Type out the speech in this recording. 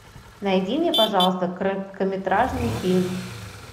найди мне пожалуйста короткометражный фильм